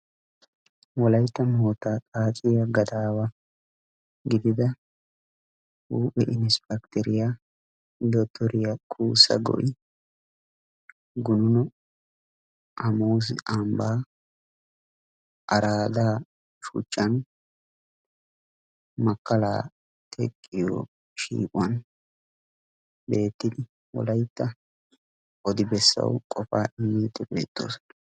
wolayttan wotaadaratu gadaawa gididda inisppecteriya dotoriya kuussa go'i gununno hamuusi ambaa araada shuchchan wolayttan odi bessassi qofaa imiidi de'ees.